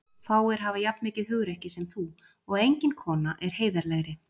Fáir hafa jafn mikið hugrekki sem þú og engin kona er heiðarlegri.